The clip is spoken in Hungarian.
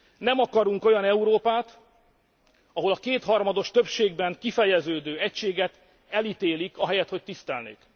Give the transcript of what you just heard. Nem akarunk olyan Európát, ahol a kétharmados többségben kifejeződő egységet elítélik, ahelyett, hogy tisztelnék!